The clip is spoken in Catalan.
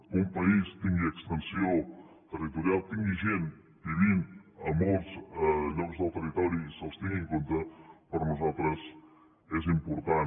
que un país tingui extensió territorial tingui gent vivint en molts llocs del territori i se’ls tingui en compte per nosaltres és important